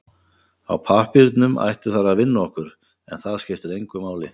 Á pappírnum ættu þær að vinna okkur, en það skiptir engu máli.